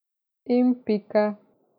In pika.